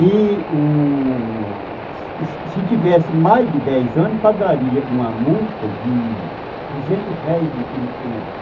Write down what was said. E se u... Se tivesse mais de dez anos, pagaria uma multa de duzentos réis naquele tempo.